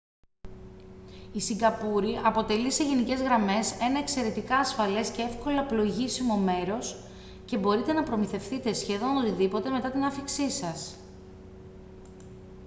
η σιγκαπούρη αποτελεί σε γενικές γραμμές ένα εξαιρετικά ασφαλές και εύκολα πλοηγήσιμο μέρος και μπορείτε να προμηθευτείτε σχεδόν οτιδήποτε μετά την άφιξή σας